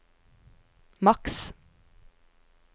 maks